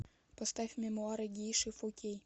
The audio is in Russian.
поставь мемуары гейши фо кей